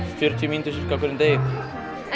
fjörutíu mínútur en